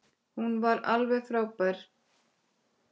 Hún var alveg frábær.